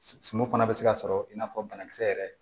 Sumun fana bɛ se ka sɔrɔ i n'a fɔ banakisɛ yɛrɛ